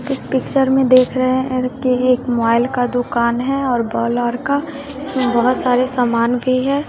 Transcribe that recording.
इस पिक्चर में देख रहे हैं कि एक मोबाइल का दुकान है और वह लड़का इसमे बहोत सारे सामान भी है।